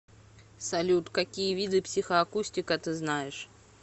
салют какие виды психоакустика ты знаешь